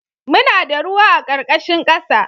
Muna da ruwa a ƙarƙashin ƙasa